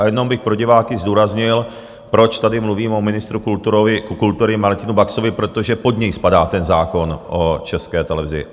A jenom bych pro diváky zdůraznil, proč tady mluvím o ministru kultury Martinu Baxovi - protože pod něj spadá ten zákon o České televizi.